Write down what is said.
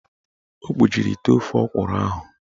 O kpuchiri ite ofe ọkwụrụ ahụ.